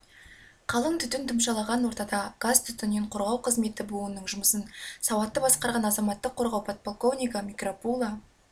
қалың түтін тұмшалаған ортада газ-түтіннен қорғау қызметі буынының жұмысын сауатты басқарған азаматтық қорғау подполковнигі микропуло